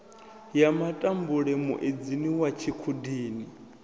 ya matambule muedzini wa tshikhudini